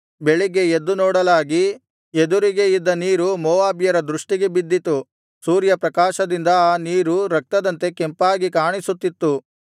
ಬೆಳಿಗ್ಗೆ ಎದ್ದು ನೋಡಲಾಗಿ ಎದುರಿಗೆ ಇದ್ದ ನೀರು ಮೋವಾಬ್ಯರ ದೃಷ್ಟಿಗೆ ಬಿದ್ದಿತು ಸೂರ್ಯಪ್ರಕಾಶದಿಂದ ಆ ನೀರು ರಕ್ತದಂತೆ ಕೆಂಪಾಗಿ ಕಾಣಿಸುತ್ತಿತ್ತು